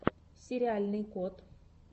сериальный кот